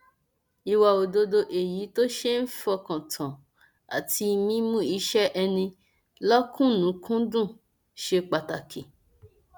ìwà òdodo èyí tó ṣe é fọkàn tán àti mímú iṣẹ ẹni lọkùnúnkúndùn ṣe pàtàkì